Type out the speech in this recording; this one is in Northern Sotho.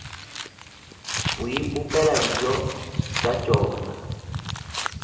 go ipopela dijo tša tšona